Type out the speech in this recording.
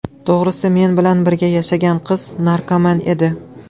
To‘g‘risi, men bilan birga yashagan qiz narkoman edi.